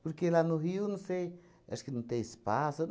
Porque lá no Rio, não sei, acho que não tem espaço. Eu